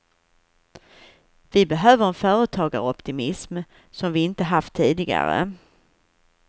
Vi behöver en företagaroptimism som vi inte haft tidigare.